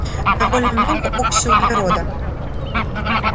довольно много окиси углерода